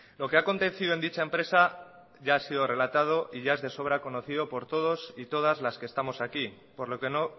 lo que ha acontecido en dicha empresa ya ha sido relatado y ya es de sobra conocido por todos y todas las que estamos aquí por lo que no